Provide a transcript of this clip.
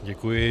Děkuji.